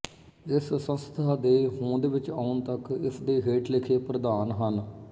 ਇਸ ਸੰਸਥਾ ਦੇ ਹੋਁਦ ਵਿੱਚ ਆਉਣ ਤੱਕ ਇਸ ਦੇ ਹੇਠ ਲਿਖੇ ਪ੍ਰਧਾਨ ਹਨ